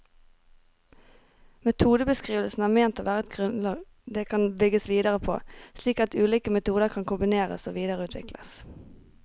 Metodebeskrivelsene er ment å være et grunnlag det kan bygges videre på, slik at ulike metoder kan kombineres og videreutvikles.